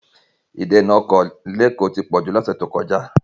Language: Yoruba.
Ìdènà ọkọ̀ ní Èkó ti pọ̀ jù lọ ní ọ̀sẹ̀ tó kọjá.